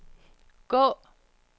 gå